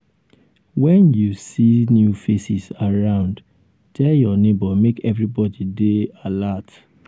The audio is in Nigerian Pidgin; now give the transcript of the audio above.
wen you um see new faces around tell your neighbor make everybody dey um alert.